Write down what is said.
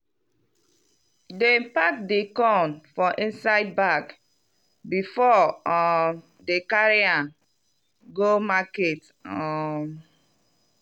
dem pack di corn for inside bag before um dem carry am go market um.